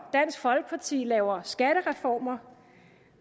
dansk folkeparti laver skattereformer